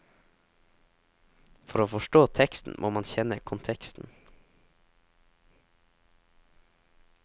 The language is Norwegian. For å forstå teksten må man kjenne konteksten.